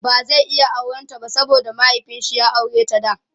ba zai iya auran ta ba saboda mahiaifinshi ya aureta da